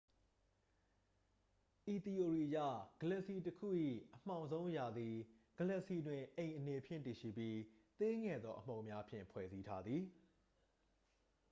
ဤသီအိုရီအရ ဂလက်ဆီတစ်ခု၏ အမှောင်ဆုံးအရာသည် ဂလက်ဆီတွင် အိမ်အနေဖြင့် တည်ရှိပြီး သေးငယ်သော အမှုန်များဖြင့် ဖွဲ့စည်းထားသည်